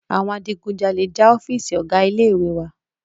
Àwọn Adigunjàlè já ọ́fììisí ọgá ilé ìwé wa.